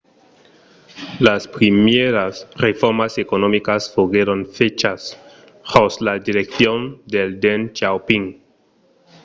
las primièras reformas economicas foguèron fachas jos la direccion de deng xiaoping